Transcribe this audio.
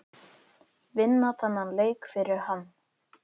Vinna þennan leik fyrir hann!